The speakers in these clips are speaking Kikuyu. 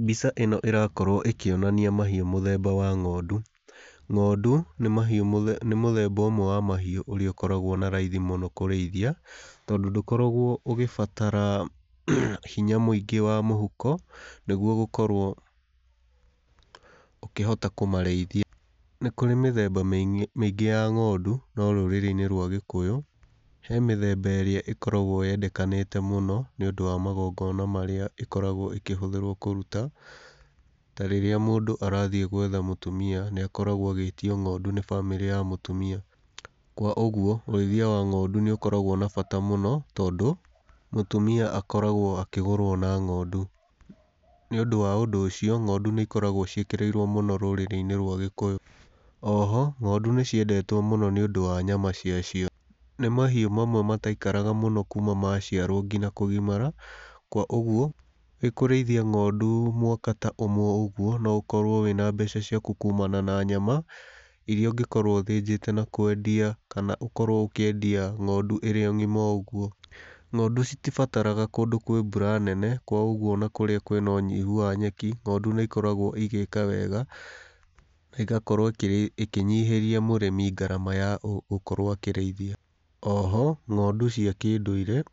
Mbica ĩno ĩrakorwo ĩkĩonania mahiũ mũthemba wa ng'ondu. Ng'ondu nĩ nĩ mahiũ mũthemba nĩ mũthemba ũmwe wa mahiũ ũrĩa aũkoragwo na raithi mũno kũrĩithia, tondũ ndũkoragwo ũgĩbatara hinya mũingĩ wa mũhuko nĩguo gũkorwo ũkĩhota kũmarĩithia. Nĩ kũrĩ mĩthemba mĩingĩ ya ng'ondu, no rũrĩrĩ-inĩ rwa gĩkũyũ, he mĩthemba ĩrĩa ĩkoragwo yendekanĩte mũno, nĩũndũ wa magongona marĩa ĩkoragwo ĩkĩhũthĩrwo kũruta, ta rĩrĩa mũndũ arathiĩ gwetha mũtumia, nĩ akoragwo agĩĩtio ng'ondu nĩ bamĩrĩ ya mũtumia. Kwa ũguo, ũrĩithia wa ng'ondu nĩ ũkoragwo na bata mũno tondũ, mũtumia akoragwo akĩgũrwo na ng'ondu. Nĩ ũndũ wa ũndũ ũcio, ng'ondu nĩ ikoragwo ciĩkĩrĩirwo mũno rũrĩrĩ-inĩ rwa Gĩkũyũ. Oho ng'ondu nĩ ciendetwo mũno nĩũndũ wa nyama cia cio. Nĩ mahiũ mamwe mataikaraga mũno kuuma ma ciarwo nginya kũgimara, kwa ũguo, wĩkũrĩithia ng'ondu mwaka ta ũmwe ũguo, no ũkorwo wĩna mbeca ciaku kuumana na nyama, iria ũngĩkorwo ũthĩnjĩte na kwendia na ũkorwo ĩkĩendia ng'ondu ĩrĩ o ng'ima ũguo. Ng'ondu citibataraga kũndũ kwĩ mbura nene, kwa ũguo ona kũrĩa kwĩna ũnyihu wa nyeki, ng'ondu nĩ ikoragwo igĩka wega, na ĩgakorwo ĩkĩnyihĩria mũrĩmi ngarama ya gũkorwo akĩrĩithia. Oho, ng'ondu cia kĩndũire,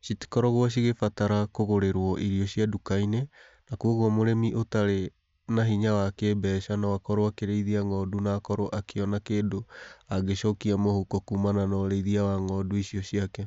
citikoragwo cigĩbatara kũgũrĩrwo irio cia nduka-inĩ, na koguo mũrĩmi ũtarĩ na hinya wa kĩmbeca no akorwo akĩrĩithia ng'ondu na akorwo akĩona kĩndũ angĩcokia mũhuko kuumana na ũrĩithia wa ng'ondu icio ciake.